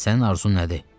Sənin arzun nədir?